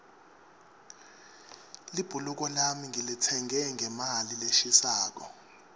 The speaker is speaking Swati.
libhuluko lami ngilitsenge ngemali leshisako